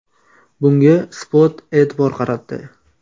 Bunga Spot e’tibor qaratdi .